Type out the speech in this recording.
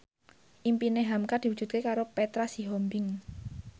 impine hamka diwujudke karo Petra Sihombing